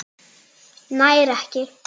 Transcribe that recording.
Nær ekki.